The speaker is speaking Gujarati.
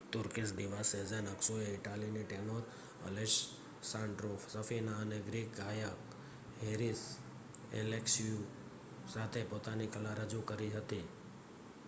તુર્કીશ દીવા સેઝેન અક્સુએ ઇટાલીની ટેનોર અલેસ્સાન્ડ્રો સફીના અને ગ્રીક ગાયક હેરીસ એલેક્ષીયુ સાથે પોતાની કલા રજૂ કરી હતી